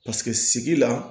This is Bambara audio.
Paseke sigi la